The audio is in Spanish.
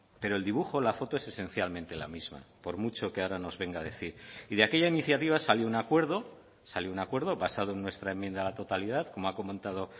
pero el dibujo la foto es esencialmente la misma por mucho que ahora nos venga a decir y de aquella iniciativa salió un acuerdo salió un acuerdo basado en nuestra enmienda a la totalidad como ha comentado